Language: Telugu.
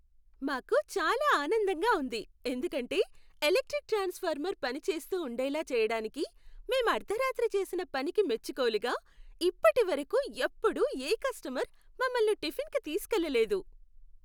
మాకు చాలా ఆనందంగా ఉంది ఎందుకంటే, ఎలక్ట్రిక్ ట్రాన్స్ఫార్మర్ పని చేస్తూ ఉండేలా చేయడానికి మేం అర్ధరాత్రి చేసిన పనికి మెచ్చుకోలుగా, ఇప్పటి వరకు ఎప్పుడూ ఏ కస్టమర్ మమ్మల్ని టిఫిన్కు తీసుకెళ్లలేదు.